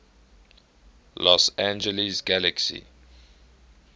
los angeles galaxy